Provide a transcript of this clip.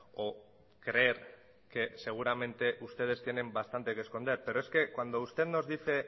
o creer que seguramente ustedes tienen bastante que esconder pero es que cuando usted nos dice